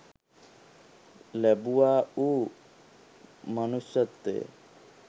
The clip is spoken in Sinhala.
ලැබුවා වූ මනුෂ්‍යත්වය